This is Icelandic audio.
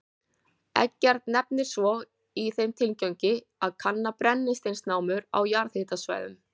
Eggert nefnir svo, í þeim tilgangi að kanna brennisteinsnámur á jarðhitasvæðum.